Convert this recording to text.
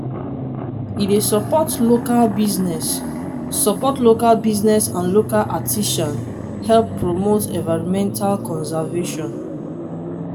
e dey suppot local busines suppot local busines and local artisan help promote environmental conservation.